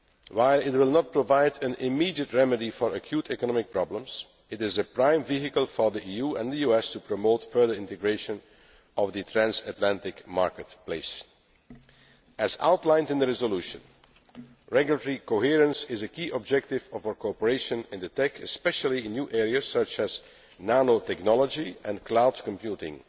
While it will not provide an immediate remedy for acute economic problems, it is the prime vehicle for the EU and the US to promote further integration of the transatlantic marketplace. As outlined in the resolution, regulatory coherence is a key objective of our cooperation in the TEC, especially in new areas such as nanotechnology and cloud computing,